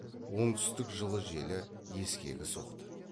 оңтүстік жылы желі ескегі соқты